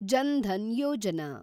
John Dhan Yojana